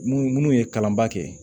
Minnu minnu ye kalanba kɛ